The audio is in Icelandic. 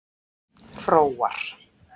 Hróar